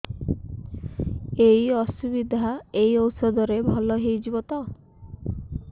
ଏଇ ଅସୁବିଧା ଏଇ ଔଷଧ ରେ ଭଲ ହେଇଯିବ ତ